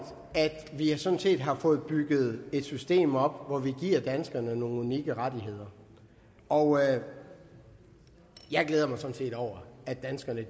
at vi sådan set har fået bygget et system op hvor vi giver danskerne nogle unikke rettigheder og jeg glæder mig sådan set over at danskerne